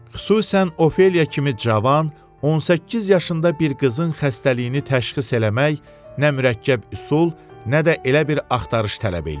Xüsusan Ofeliya kimi cavan, 18 yaşında bir qızın xəstəliyini təşxis eləmək nə mürəkkəb üsul, nə də elə bir axtarış tələb eləyir.